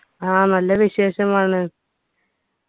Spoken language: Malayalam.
ആ നല്ല വിശേഷമാണ്